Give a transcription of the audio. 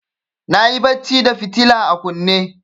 Na yi barci da fitila a kunne.